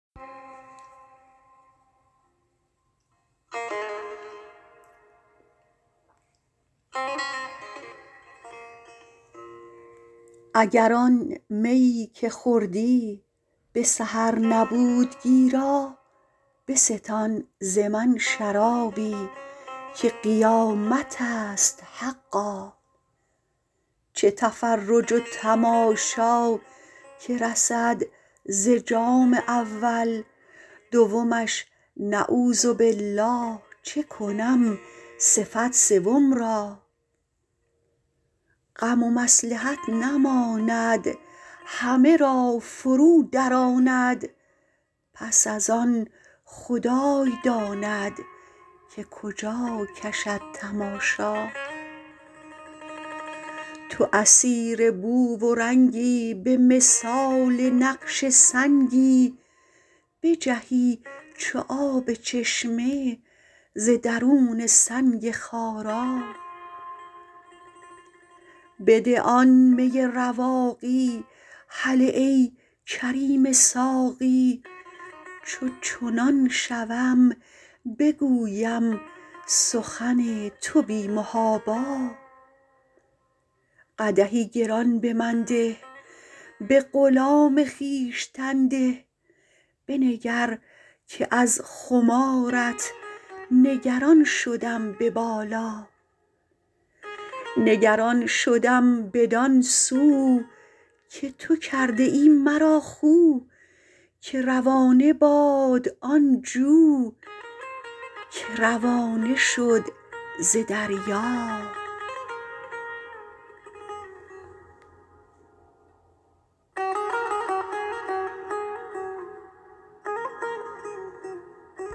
اگر آن میی که خوردی به سحر نبود گیرا بستان ز من شرابی که قیامت است حقا چه تفرج و تماشا که رسد ز جام اول دومش نعوذبالله چه کنم صفت سوم را غم و مصلحت نماند همه را فرو دراند پس از آن خدای داند که کجا کشد تماشا تو اسیر بو و رنگی به مثال نقش سنگی بجهی چو آب چشمه ز درون سنگ خارا بده آن می رواقی هله ای کریم ساقی چو چنان شوم بگویم سخن تو بی محابا قدحی گران به من ده به غلام خویشتن ده بنگر که از خمارت نگران شدم به بالا نگران شدم بدان سو که تو کرده ای مرا خو که روانه باد آن جو که روانه شد ز دریا